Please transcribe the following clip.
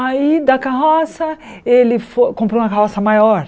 Aí, da carroça, ele fo comprou uma carroça maior.